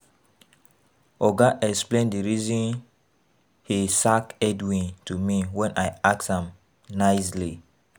Oga explain the reason he sack Edwin to me wen I ask am nicely